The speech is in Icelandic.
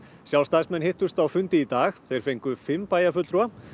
sjálfstæðismenn hittust á fundi í dag þeir fengu fimm bæjarfulltrúa